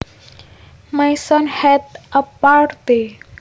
My son had a party